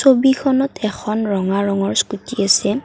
ছবিখনত এখন ৰঙা ৰঙৰ স্কোটী আছে।